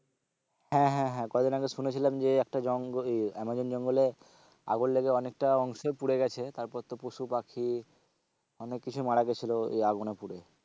হ্যাঁ হ্যাঁ হ্যাঁ কদিন আগে শুনেছিলাম যে একটা জঙ্গলে এ আমাজন জঙ্গলে আগুন লেগে অনেকটা অংশই পুড়ে গেছে, তারপর তো পশু পাখি অনেক কিছুই মারা গেছিলো ওই আগুনে পুড়ে।